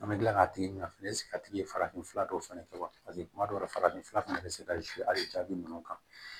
An bɛ kila k'a tigi na fɛnɛ a tigi ye farafinfura dɔw fɛnɛ kɛ wa paseke kuma dɔ la farafin fura fɛnɛ bi se ka hali jaabi ninnu kan